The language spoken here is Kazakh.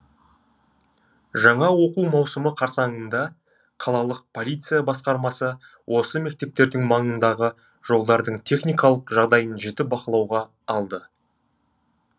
жаңа оқу маусымы қарсаңында қалалық полиция басқармасы осы мектептердің маңындағы жолдардың техникалық жағдайын жіті бақылауға алды